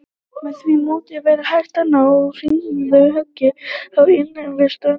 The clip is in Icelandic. Með því móti væri hægt að ná hnitmiðuðu höggi á innrásarliðið við ströndina.